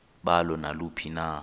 balo naluphi na